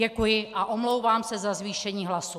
Děkuji a omlouvám se za zvýšení hlasu.